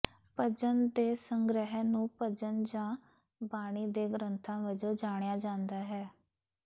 ਭਜਨ ਦੇ ਸੰਗ੍ਰਹਿ ਨੂੰ ਭਜਨ ਜਾਂ ਬਾਣੀ ਦੇ ਗ੍ਰੰਥਾਂ ਵਜੋਂ ਜਾਣਿਆ ਜਾਂਦਾ ਹੈ